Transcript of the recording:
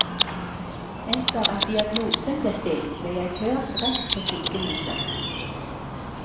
Etter at diagnosen ble stilt, ble jeg kjørt rett på sykehuset.